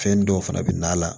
Fɛn dɔw fana bɛ na a la